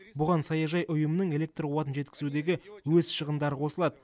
бұған саяжай ұйымының электр қуатын жеткізудегі өз шығындары қосылады